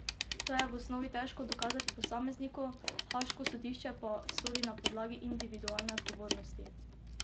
To je v osnovi težko dokazati posamezniku, haaško sodišče pa sodi na podlagi individualne odgovornosti.